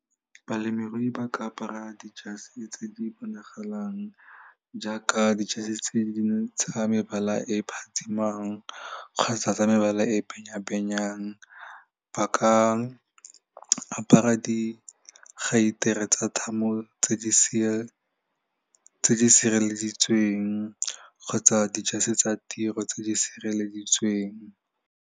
Balemirui ba ka apara dijase tse di bonagalang jaaka dijase tse dingwe tsa mebala e phatsimang kgotsa tsa mebala e benyabenyang ba ka ka apara di geitere tsa thamo tse di tse di sireleditsweng kgotsa dijase tsa tiro tse di sireleditsweng.